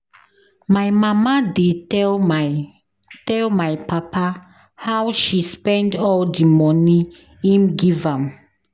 My mama dey tell my tell my papa how she spend all di moni im give am.